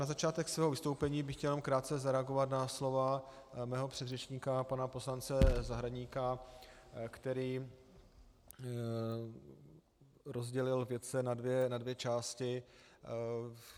Na začátek svého vystoupení bych chtěl jenom krátce zareagovat na slova svého předřečníka pana poslance Zahradníka, který rozdělil vědce na dvě části.